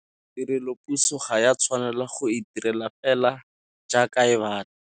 Tirelopuso ga ya tshwanela go itirela fela jaaka e batla.